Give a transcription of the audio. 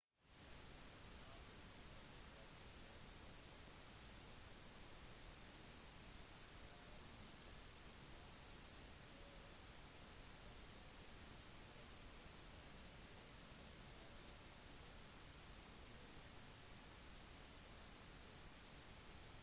naturfotografi krever ofte at man bruker en lang telelinse men skal man ta bilde av for eksempel en flokk fugler eller bittesmå dyr vil man ha behov for andre typer linser